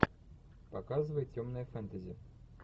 показывай темное фэнтези